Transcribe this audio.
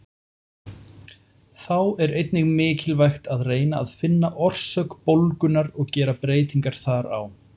Þá er einnig mikilvægt að reyna að finna orsök bólgunnar og gera breytingar þar á.